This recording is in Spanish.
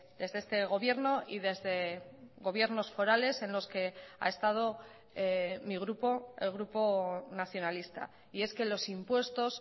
desde este gobierno y desde gobiernos forales en los que ha estado mi grupo el grupo nacionalista y es que los impuestos